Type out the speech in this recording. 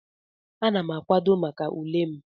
Ana m akwado maka ule m.